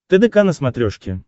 тдк на смотрешке